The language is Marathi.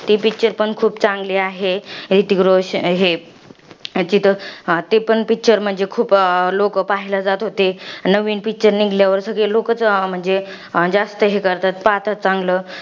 ती picture पण चांगली आहे. ह्रितिक रोशन, हे हा ते पण picture म्हणजे, लोकं पाहायला जात होते. नवीन picture निघल्या नंतर सगळे लोकंच म्हणजे, जास्त हे करतात. पाहतात चांगलं.